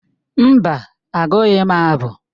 Mba, agụghị m abụ.